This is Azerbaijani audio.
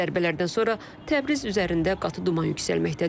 Zərbələrdən sonra Təbriz üzərində qatı duman yüksəlməkdədir.